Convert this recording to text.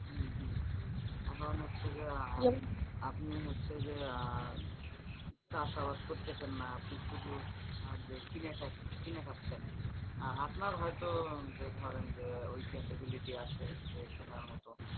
এখন হচ্ছে যে আপনি হচ্ছেন আহ যে চাষাবাদ করতেছেন না আপনি শুধু যে কিনে, কিনে খাচ্ছেন আপনার হয়তো যে ধরেন যে ওই capability আছে যে কেনার মত।